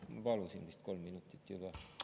Ma palusin vist kolm minutit juba?